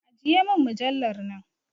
Ajiye mujallar nan!